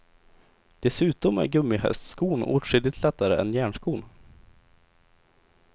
Dessutom är gummihästskon åtskilligt lättare än järnskon.